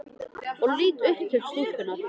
Og ég lít upp til stúlkunnar.